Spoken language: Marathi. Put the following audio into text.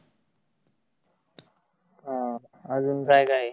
हम्म आजुन काय काय आहे?